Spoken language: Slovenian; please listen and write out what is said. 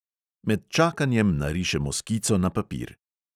Med čakanjem narišemo skico na papir.